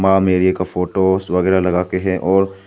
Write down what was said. आ मेरी का फोटो वगैर लगा के है और--